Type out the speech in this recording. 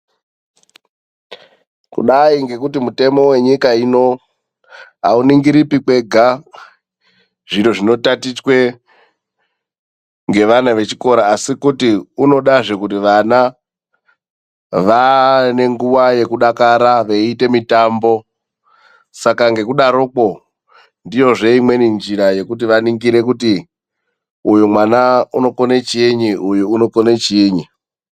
Kudayi ngekuti mutemo wenyika ino awuningiripi kwega zviro zvinotatichwe ngevana vechikora, asi kuti unodazve kuti vana vave nenguwa yekudakara veyiita mitambo. Saka ngekudaroko ndiyozve imweni njira yekuti vaningire kuti uyu mwana unokone chiinyi uyu unokone chiinyi.